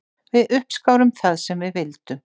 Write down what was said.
Við uppskárum það sem við vildum.